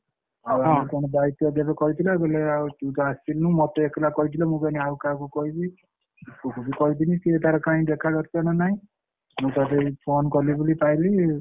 ଆଉ କଣ ଦାଇତ୍ଵ ଦେବେ କହିଥିଲେ କହିଲେ ଆଉ ତୁ ତ ଆସିନୁ ମତେ ଏକେଲା କହିଥିଲେ ମୁଁ କହିଲି ଆଉ କାହାକୁ କହିବି? ଗୁଡୁକୁ କହିଥିଲି ସିଏ ତାର କାଇଁ ଦେଖା ଦର୍ଶନ ନାଇ ମୁଁ ତାପରେ phone କଲି ବୋଲି ପାଇଲି।